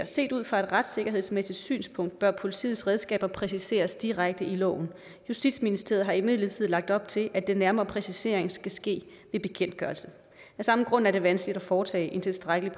set ud fra et retssikkerhedsmæssigt synspunkt bør politiets redskaber præciseres direkte i loven justitsministeriet har imidlertid lagt op til at den nærmere præcisering skal ske ved bekendtgørelse af samme grund er det vanskeligt at foretage en tilstrækkelig